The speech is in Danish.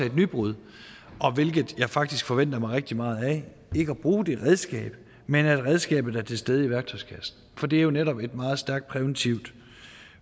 et nybrud og hvilket jeg faktisk forventer mig rigtig meget af ikke at bruge det redskab men at redskabet er til stede i værktøjskassen for det er jo netop et meget stærkt præventivt